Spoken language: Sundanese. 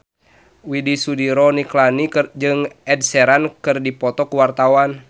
Widy Soediro Nichlany jeung Ed Sheeran keur dipoto ku wartawan